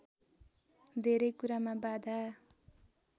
धेरै कुरामा बाधा